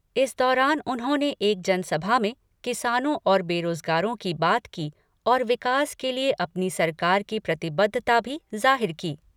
इस दौरान उन्होंने एक जनसभा में किसानों और बेरोजगारों की बात की और विकास के लिए अपनी सरकार की प्रतिबद्धता भी जाहिर की।